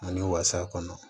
Ani wasa kɔnɔ